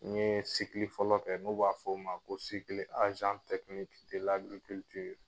N ye sikili fɔlɔ kɛ n'u b'a fɔ o ma ko sikili